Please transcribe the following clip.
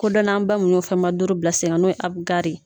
Kodɔnnanba mun y'o fɛnbaa duuru bila sen ka n'o ye Abugari ye.